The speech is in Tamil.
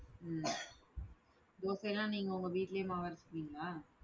உம் தோசைனா நீங்க உங்க வீட்டுலயே மாவு அரச்சுகுவீன்களா?